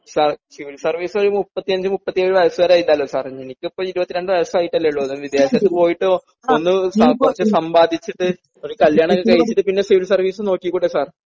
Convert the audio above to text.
sir civil service ഒരു മുപ്പത്തി അഞ്ചു മുപ്പത്തി ഏഴു വയസസു വരെയില്ലേ എനിക്കിപ്പോ ഇരുപത്തിരണ്ടു വയസ്സായിട്ടേ ഉള്ളു വിദേശത്ത് പോയിട്ട് ഒന്ന് കുറച്ചു സമ്പാദിച്ചിട്ട് ഒരു കല്യാണം ഒക്കെ കഴിച്ചിട്ട് പിന്നെ സിവിൽ സർവീസ് നോക്കി കൂടെ സർ